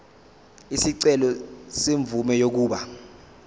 isicelo semvume yokuba